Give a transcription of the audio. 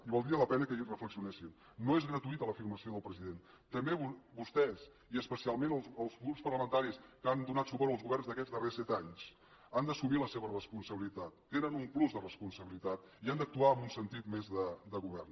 i valdria la pena que hi reflexionessin no és gratuïta l’afirmació del president també vostès i especialment els grups parlamentaris que han donat suport als governs d’aquests darrers set anys han d’assumir la seva responsabilitat tenen un plus de responsabilitat i han d’actuar amb un sentit més de govern